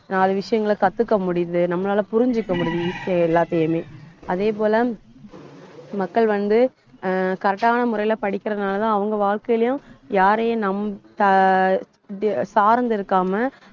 நாலு விஷயங்களை கத்துக்க முடியுது நம்மளால புரிஞ்சுக்க முடியுது. easy யா எல்லாத்தையுமே அதே போல மக்கள் வந்து, ஆஹ் correct ஆன முறையில படிக்கிறதுனாலதான் அவங்க வாழ்க்கையிலையும் யாரையும் நம் சா~ சார்ந்து இருக்காம